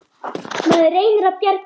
Maður reynir að bjarga sér.